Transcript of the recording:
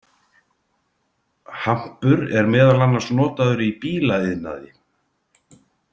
Hampur er meðal annars notaður í bílaiðnaði.